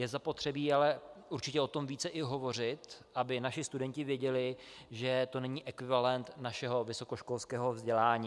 Je zapotřebí ale určitě o tom více i hovořit, aby naši studenti věděli, že to není ekvivalent našeho vysokoškolského vzdělání.